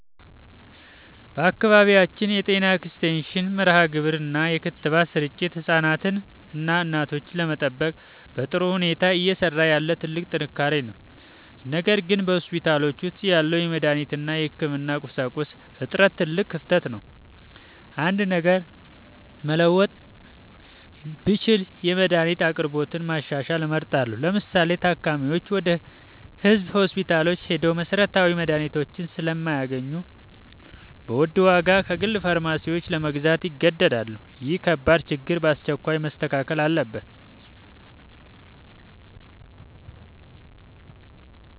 በአካባቢያችን የጤና ኤክስቴንሽን መርሃግብር እና የክትባት ስርጭት ህፃናትንና እናቶችን ለመጠበቅ በጥሩ ሁኔታ እየሰራ ያለ ትልቅ ጥንካሬ ነው። ነገር ግን በሆስፒታሎች ውስጥ ያለው የመድኃኒት እና የህክምና ቁሳቁስ እጥረት ትልቅ ክፍተት ነው። አንድ ነገር መለወጥ ብችል የመድኃኒት አቅርቦትን ማሻሻል እመርጣለሁ። ለምሳሌ፤ ታካሚዎች ወደ ህዝብ ሆስፒታሎች ሄደው መሰረታዊ መድኃኒቶችን ስለማያገኙ በውድ ዋጋ ከግል ፋርማሲዎች ለመግዛት ይገደዳሉ። ይህ ከባድ ችግር በአስቸኳይ መስተካከል አለበት።